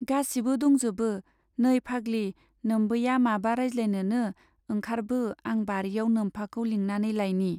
गासिबो दंजोबो, नै फाग्लि, नोम्बैया माबा राजज्लायनोनो, ओंखारबो, आं बारियाव नोम्फाखौ लिंनानै लाइनि।